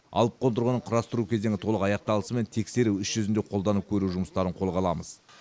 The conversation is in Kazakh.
алып қондырғының құрастыру кезеңі толық аяқталысымен тексеру іс жүзінде қолданып көру жұмыстарын қолға аламыз